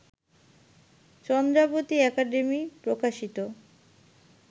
Chandrabati academy প্রকাশিত